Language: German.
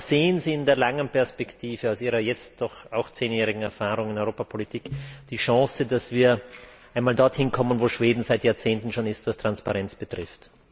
Sehen Sie in der langen Perspektive aus Ihrer jetzt doch zehnjährigen Erfahrung in der Europa Politik die Chance, dass wir einmal dorthin kommen, wo Schweden seit Jahrzehnten schon ist, was Transparenz betrifft?